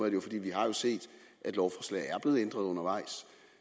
det jo fordi vi har set at lovforslag er blevet ændret undervejs